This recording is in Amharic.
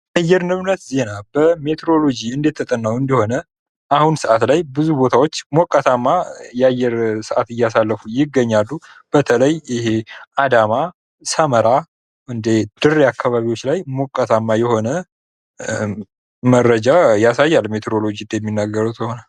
የአየር ንብረት ዜና በሜትሮሎጅ እንደተጠናዉ እንደሆነ በአሁኑ ሰዓት ላይ ብዙ ቦታዎች ሞቃታማ የአየር ሁኔታዎች እያሳለፉ ይገኛሉ። በተለይ አዳማ፣ ሰመራ፣ ድሬ አካባቢዎች ላይ ሞቃታማ መረጃ ያሳያል ሜትሮሎጅ እንደሚያሳየዉ ከሆነ።